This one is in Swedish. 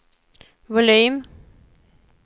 volym